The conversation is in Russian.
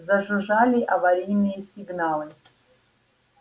зажужжали аварийные сигналы